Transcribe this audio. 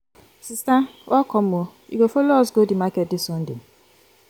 sister welcome o you go folo us go di market dis sunday?